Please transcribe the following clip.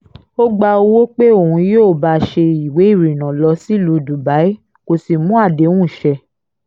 ó gba owó pé òun yóò bá a ṣe ìwé ìrìnnà lọ sílùú dubai kó sì mú àdéhùn ṣẹ